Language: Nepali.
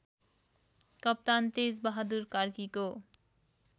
कप्तान तेजबहादुर कार्कीको